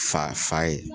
Fa fa ye